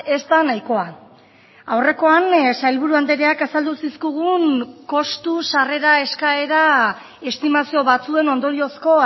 ez da nahikoa aurrekoan sailburu andreak azaldu zizkigun kostu sarrera eskaera estimazio batzuen ondoriozko